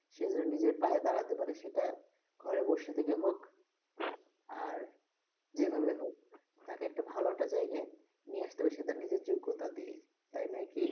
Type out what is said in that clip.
সে যে নিজের পায়ে দাঁড়াতে পারে সেটা ঘরে বসে থেকে হোক, আর যেইভাবে হোক, তাকে একটা ভালো একটা জায়গায় নিয়ে আসতে হবে সেটা নিজের যোগ্যতা দিয়েই তাই নয় কি?